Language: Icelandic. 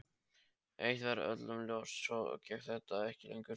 Eitt var öllum ljóst: Svona gekk þetta ekki lengur.